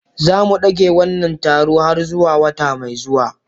Za mu dage wannan taron har zuwa wata mai zuwa.